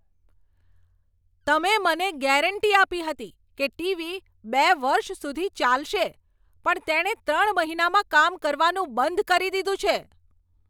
તમે મને ગેરંટી આપી હતી કે ટીવી બે વર્ષ સુધી ચાલશે પણ તેણે ત્રણ મહિનામાં કામ કરવાનું બંધ કરી દીધું છે!